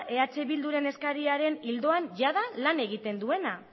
eh bilduren eskariaren ildoan jada lan egiten duena